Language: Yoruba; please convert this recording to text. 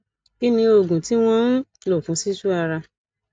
kí ni oògùn tí wọn ń lò fún sisu ara